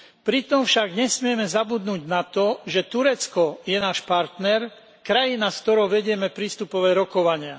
Pritom však nesmieme zabudnúť na to, že Turecko je náš partner, krajina, s ktorou vedieme prístupové rokovania.